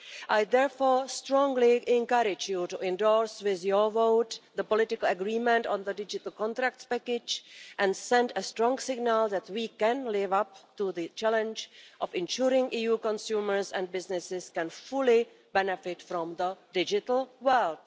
I therefore strongly encourage this House to endorse with its vote the political agreement on the digital contracts package and send a strong signal that we can live up to the challenge of ensuring EU consumers and businesses can fully benefit from the digital world.